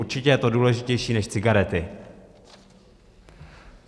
Určitě je to důležitější než cigarety.